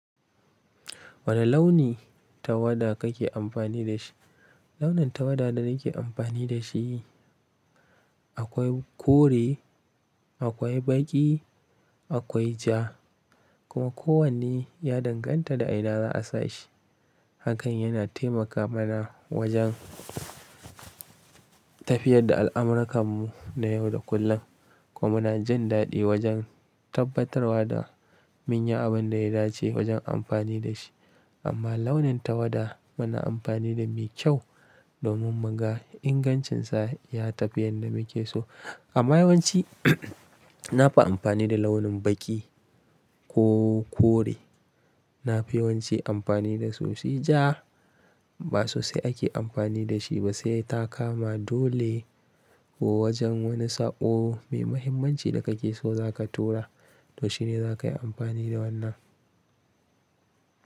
Wane launi tawada kake amfani da shi? Launin tawada da nake amfani da shi akwai kore, akwai baƙi, akwai ja kuma kowanne ya danganta da a ina za a sa shi. Hakan yana taimaka mana wajen tafiyar da al'amurakan mu na yau da kullum kuma muna jin daɗi wajen tabbatarwa da mun yi abin da ya dace wajen amfani da shi. Amma launin tawada muna amfani da mi kyau domin muga ingancinsa ya tafi yadda muke so. Amma yawanci na fi amfani da launin baƙi ko kore. Na fi yawanci amfani da su. Sai ja ba sosai ake amfani da shi ba sai ta kama dole ko wajen wani saƙo mai mahimmanci da kake so za ka tura, to shine za ka yi amfani da wannan.